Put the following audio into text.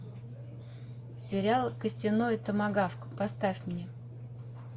сериал костяной томагавк поставь мне